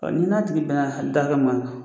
Ɔ ni n'a tigi bɛna hali da hakɛ min na.